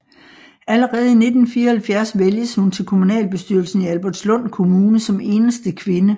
Allerede i 1974 vælges hun til kommunalbestyrelsen i Albertslund Kommune som eneste kvinde